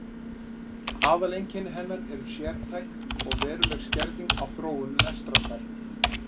Aðaleinkenni hennar er sértæk og veruleg skerðing á þróun lestrarfærni.